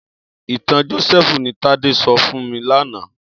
Itàn Josèfú ni Tade sò fún mi làná